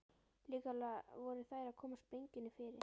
Líklega voru þær að koma sprengjunni fyrir.